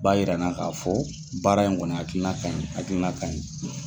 Ba yira n na k'a fɔ baara in kɔni hakilina kaɲi, hakilina kaɲi.